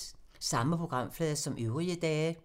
Samme programflade som øvrige dage